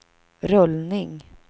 rullning